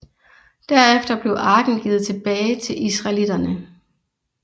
Derefter blev arken givet tilbage til israelitterne